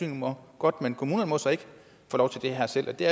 må godt men kommunerne må så ikke få lov til det her selv er det